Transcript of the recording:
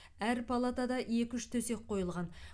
әр палатада екі үш төсек қойылған